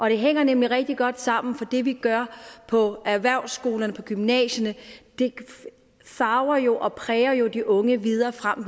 hænger nemlig rigtig godt sammen for det vi gør på erhvervsskolerne og på gymnasierne farver jo og præger de unge videre frem